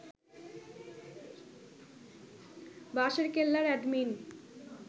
বাঁশেরকেল্লার admin